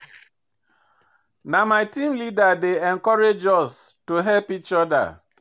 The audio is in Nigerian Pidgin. Na my team leader dey encourage us to help each oda.